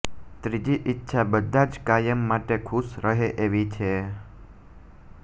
ત્રીજી ઈચ્છા બધા જ કાયમ માટે ખુશ રહે એવી છે